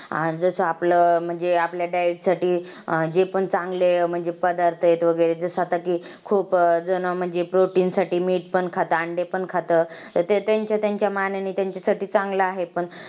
आज मी तुम्हाला काशिगाव या छोट्याशा गावातील एक छोटासा पाडा ज्याचा आता नाव सध्या तर मीनाक्षी नगर असे आहे तर छोट्या शा गावा विषयी या नगरा विषयी थोडक्यात तुम्हाला सांगनार आहे.